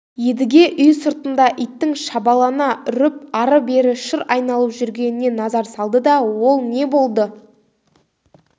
едіге үй сыртында иттің шабалана үріп ары-бері шыр айналып жүргеніне назар салды да ол не болды